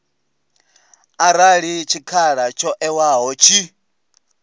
arali tshikhala tsho ewaho tshi